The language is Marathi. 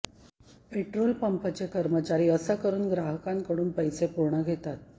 पेट्रोल पंपचे कर्मचारी असं करून ग्राहकांकडून पैसे पूर्ण घेतात